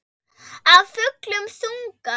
Af fullum þunga.